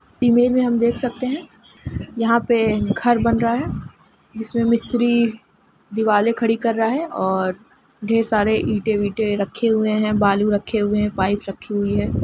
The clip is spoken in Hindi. इमेज में हम देख सकते है यहा पे घर बन रहा है जिसमे मिस्त्री दिवाले खड़ी कर रहा हैऔर ढेर सारे ईटे विंटे रखे हुए हैबालू रखे हुए हैपाईप रखी हुई है।